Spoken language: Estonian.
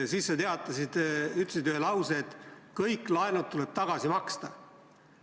Siis sa ütlesid lause, et kõik laenud tuleb tagasi maksta.